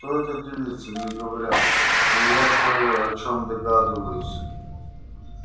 кто эта девица не говорят но я кое о чем догадываюсь